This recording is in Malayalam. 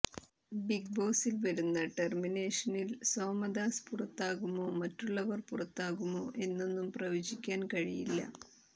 ബിഗ് ബോസിൽ വരുന്ന ടെർമിനെഷനിൽ സോമദാസ് പുറത്താകുമോ മറ്റുള്ളവർ പുറത്താകുമോ എന്നൊന്നും പ്രവചിക്കാൻ കഴിയില്ല